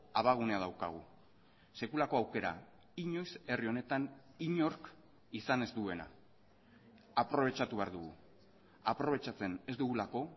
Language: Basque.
abagunea daukagu sekulako aukera inoiz herri honetan inork izan ez duena aprobetxatu behar dugu aprobetxatzen ez dugulako